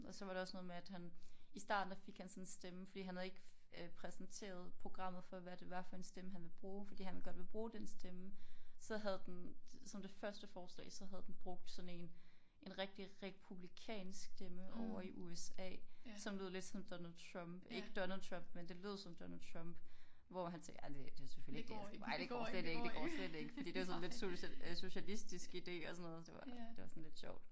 Og så var der også noget med at han i starten der fik han sådan en stemme fordi han havde ikke øh præsenteret programmet for hvad det var for en stemme han ville bruge fordi han godt vil bruge den stemme så havde den som det første forslag så havde den brugt sådan en en rigtig republikansk stemme over i USA som lød lidt som Donald Trump ikke Donald Trump men det lød som Donald Trump hvor han sagde ej det det selvfølgelig ikke det jeg skal ej det går ikke det går slet ikke fordi det sådan lidt socialistisk idé og sådan noget det var det var sådan lidt sjovt